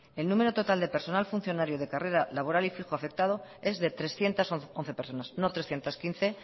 el número total del personal funcionario de carrera laboral y fijo aceptado es de trescientos once personas no trescientos quince